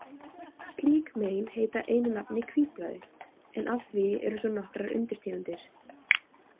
Slík mein heita einu nafni hvítblæði, en af því eru svo nokkrar undirtegundir.